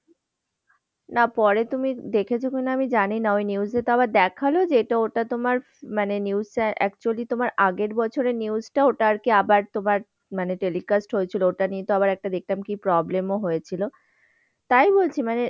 না পরে তুমি দেখেছ কি না আমি জানি না, ওই news তো আবার দেখাল যে এটা ওটা তোমার মানে news টা actually তোমার আগের বছরের news টা ওটা আরকি আবার তোমার মানে যে telecast হয়েছিল ওটা নিয়েতো আবার একটা দেখলাম কি problem ও হয়েছিল তাই বলছি। মানে,